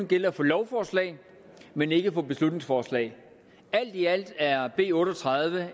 gælde for lovforslag men ikke for beslutningsforslag alt i alt er b otte og tredive